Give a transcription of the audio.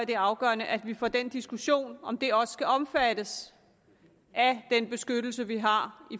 det er afgørende at vi får en diskussion om hvorvidt det også skal omfattes af den beskyttelse vi har